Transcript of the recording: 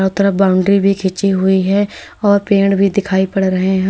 तरफ बाउंड्री भी खींची हुई है और पेड़ भी दिखाई पड़ रहे हैं।